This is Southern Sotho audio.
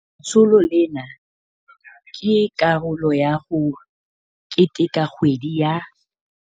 Letsholo lena ke karolo ya ho keteka kgwedi ya